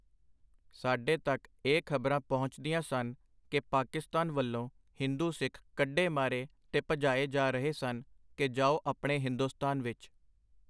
ਸਾਡੇ ਤਕ ਇਹ ਖ਼ਬਰਾਂ ਪਹੁੰਚਦੀਆਂ ਸਨ ਕਿ ਪਾਕਿਸਤਾਨ ਵੱਲੋਂ ਹਿੰਦੂ ਸਿੱਖ ਕੱਢੇ ਮਾਰੇ ਤੇ ਭਜਾਏ ਜਾ ਰਹੇ ਸਨ ਕਿ ਜਾਓ ਆਪਣੇ ਹਿੰਦੁਸਤਾਨ ਵਿੱਚ.